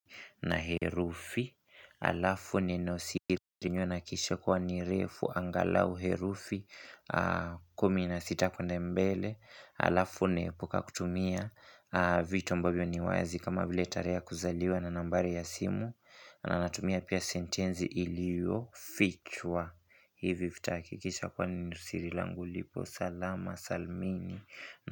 Na herufi alafu neno siri. Niwe nakishe kuwa ni refu angalau herufi. Kumi na sita kuenda mbele. Alafu naepuka kutumia vitu ambavyo ni wazi. Kama vile tarehe ya kuzaliwa na nambari ya simu. Na anatumia pia sentenzi ilio fichwa. Hivi vita hakikisha kwa neno siri langu lipo. Salama salmini.